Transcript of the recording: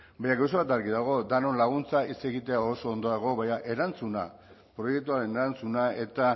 baina gauza bat argi dago denon laguntzaz hitz egitea ondo dago baina erantzuna proiektuaren erantzuna eta